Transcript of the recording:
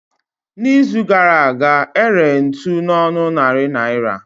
Na izu gara aga, ere ntụ na ọnụ narị naira